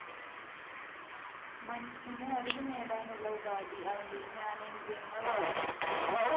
മനുഷ്യന് അറിവുനേടാനുള്ള ഉപാധി അവന്റെ ജ്ഞാനേന്ദ്രിയങ്ങളാണ്